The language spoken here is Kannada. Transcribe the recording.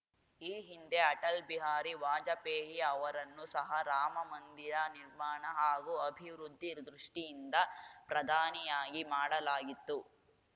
ಈ ಹಿಂದೆ ಅಟಲ್‌ ಬಿಹಾರಿ ವಾಜಪೇಯಿ ಅವರನ್ನು ಸಹ ರಾಮಮಂದಿರ ನಿರ್ಮಾಣ ಹಾಗೂ ಅಭಿವೃದ್ಧಿ ದೃಷ್ಟಿಯಿಂದ ಪ್ರಧಾನಿಯಾಗಿ ಮಾಡಲಾಗಿತ್ತು